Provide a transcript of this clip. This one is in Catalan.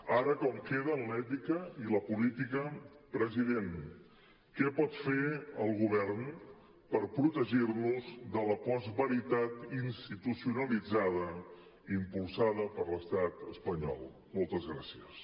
ara com queden l’ètica i la política president què pot fer el govern per protegir nos de la postveritat institucionalitzada impulsada per l’estat espanyol moltes gràcies